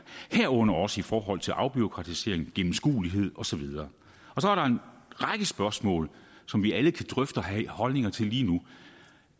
herunder også i forhold til afbureaukratisering gennemskuelighed og så videre så er der en række spørgsmål som vi alle kan drøfte og have holdninger til lige nu